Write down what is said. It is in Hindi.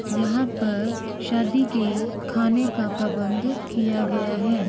यहाँ पर शादी के खाने का प्रबंध किया गया है।